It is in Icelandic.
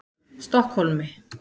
Stokkhólmi